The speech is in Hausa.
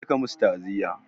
Je ka musu taaziya!